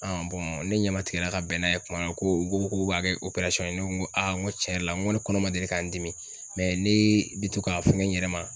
ne ɲɛma tigɛra ka bɛn n'a ye kuma na ko u ko k'u b'a kɛ ye ne ko a n ko tiɲɛ yɛrɛ la n ko ne kɔnɔ ma deli ka n dimi ne bi to ka fɛn yɛrɛ ma.